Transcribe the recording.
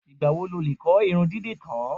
Ìgbà wo lo lè kọ́ irun dídì tán?